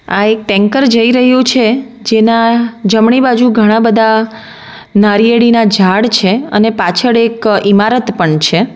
આ એક ટેન્કર જઈ રહ્યું છે જેના જમણી બાજુ ઘણા બધા નારીયેળીના ઝાડ છે અને પાછળ એક ઇમારત પન છે.